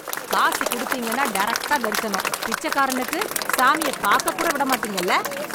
காசு குடுத்தீங்கன்னா டைரக்டா தரிசனம், பிச்சைக்காரனுக்கு சாமியை பார்க்க கூட விட மாட்டீங்கல்ல